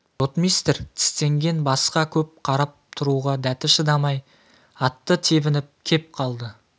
ротмистр тістенген басқа көп қарап тұруға дәті шыдамай атты тебініп кеп қалды